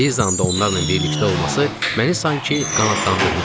Lizanın da onlarla birlikdə olması məni sanki qanadlandırmışdı.